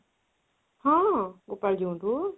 ହଁ